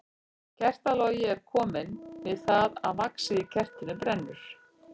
Kertalogi er til kominn við það að vaxið í kertinu brennur.